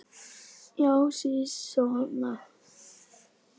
Já, sisona!